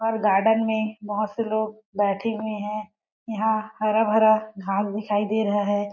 और गार्डन में बहुत से लोग बैठे हुए है। यहाँ हरा भरा घास दिखाई दे रहा है।